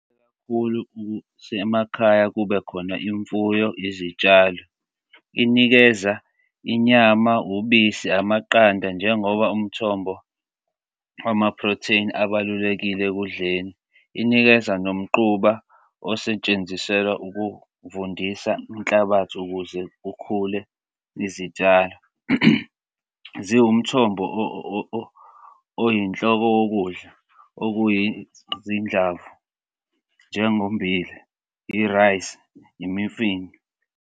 Kakhulu ukuthi emakhaya, kubekhona imfuyo, izitshalo. Inikeza inyama, ubisi, amaqanda njengoba umthombo, ama protein abalulekile ekudleni inikeza nomquba osetsheziselwa ukuvundisa inhlabathi ukuze kukhule izitshalo. Ziwumthombo oyinhloko wokudla okuyizinhlamvu njengommbila, i-rice, imifino.